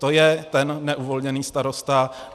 To je ten neuvolněný starosta.